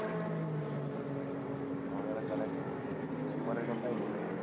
আমাদের এখানে এক মেম্বারের কথাই বলি।